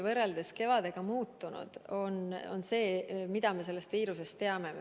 Võrreldes kevadega on muutunud see, mida me sellest viirusest teame.